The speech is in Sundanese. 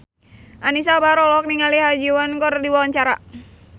Anisa Bahar olohok ningali Ha Ji Won keur diwawancara